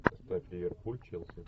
поставь ливерпуль челси